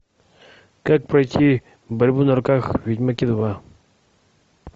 как пройти борьбу на руках в ведьмаке два